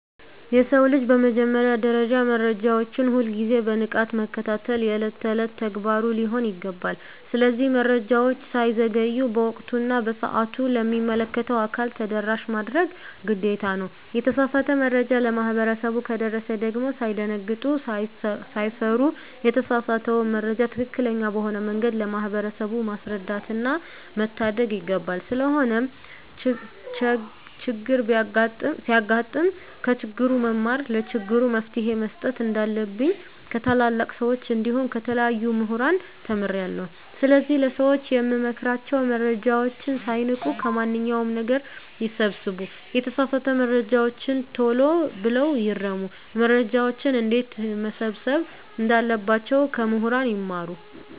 የሰው ልጅ በመጀመሪያ ደረጃ መረጃዎችን ሁል ግዜ በንቃት መከታተል የእለት እለት ተግባሩ ሊሆን ይገባል። ስለዚህ መረጃወች ሳይዘገዩ በወቅቱ እና በሰአቱ ለሚመለከተው አካል ተደራሽ ማድረግ ግዴታ ነው። የተሳሳተ መረጃ ለማህበረሰቡ ከደረሰ ደግም ሳይደነግጡ ሳይፈሩ የተሳሳተውን መረጃ ትክክለኛ በሆነ መንገድ ለማህበረሰቡ ማስረዳትና መታደግ ይገባል። ስለሆነም ቸግር ሲያጋጥም ከችግሩ መማርና ለችግሩ መፈትሄ መስጠት እንንዳለብኝ ከታላላቅ ሰወች እንዲሁም ከተለያዩ ሙህራን ተምሬአለሁ። ስለዚህ ለሰወች የምመክራቸው መረጃወችን ሳይንቁ ከማንኛው ነገር ይሰብስቡ የተሳሳተ መረጃወችን ተሎ ብለው ይርሙ። መረጃወችን እንዴትመሰብሰብ እንዳለባቸው ከሙህራን ይማሩ።